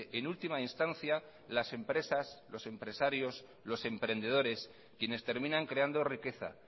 en última instancia las empresas los empresarios los emprendedores quienes terminan creando riqueza